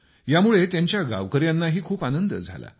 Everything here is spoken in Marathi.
यामुळे त्यांच्या गाववाल्यांनाही खूप आनंद झाला